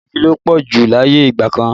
Iná igi ló pọ̀ jù láyé ìgbà kan